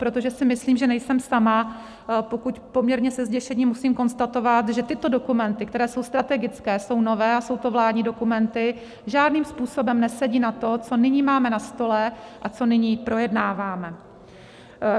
Protože si myslím, že nejsem sama, pokud poměrně se zděšením musím konstatovat, že tyto dokumenty, které jsou strategické, jsou nové a jsou to vládní dokumenty, žádným způsobem nesedí na to, co nyní máme na stole a co nyní projednáváme.